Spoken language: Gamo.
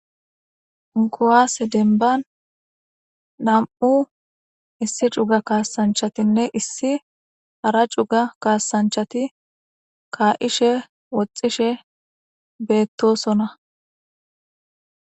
guaase denban nam7u issi cuga kaasanchatinne issi hara cuga kaasanchati kaa7ishe woxxishe beettosona